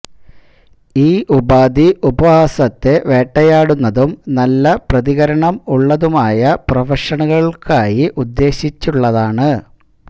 ഈ ഉപാധി ഉപവാസത്തെ വേട്ടയാടുന്നതും നല്ല പ്രതികരണം ഉള്ളതുമായ പ്രൊഫഷണലുകൾക്കായി ഉദ്ദേശിച്ചുള്ളതാണ്